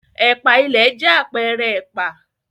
Ẹ̀pà ìlẹ̀ jẹ́ àpẹẹrẹ ẹ̀pà.